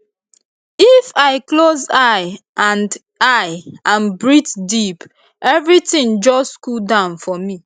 if i close eye and eye and breathe deep everything just cool down for me